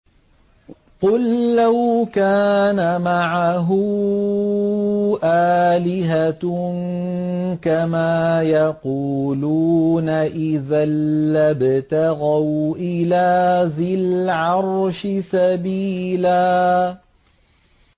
قُل لَّوْ كَانَ مَعَهُ آلِهَةٌ كَمَا يَقُولُونَ إِذًا لَّابْتَغَوْا إِلَىٰ ذِي الْعَرْشِ سَبِيلًا